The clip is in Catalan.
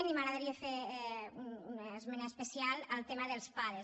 i m’agradaria fer una esmena especial al tema dels pades